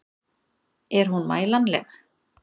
Er hún mælanleg?